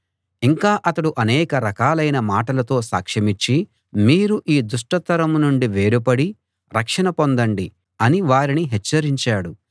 ఇంకా అతడు అనేక రకాలైన మాటలతో సాక్షమిచ్చి మీరు ఈ దుష్ట తరం నుండి వేరుపడి రక్షణ పొందండి అని వారిని హెచ్చరించాడు